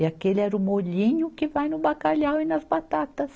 E aquele era o molhinho que vai no bacalhau e nas batatas.